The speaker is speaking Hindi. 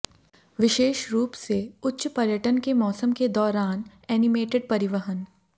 विशेष रूप से उच्च पर्यटन के मौसम के दौरान एनिमेटेड परिवहन